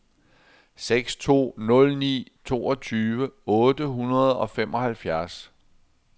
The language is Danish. seks to nul ni toogtyve otte hundrede og femoghalvfjerds